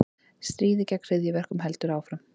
Stríðið gegn hryðjuverkum heldur áfram